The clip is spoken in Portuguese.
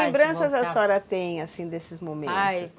Que lembranças a senhora tem, assim, desses momentos? Aí